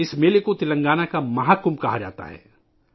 اس میلے کو تلنگانہ کا مہا کمبھ کہا جاتا ہے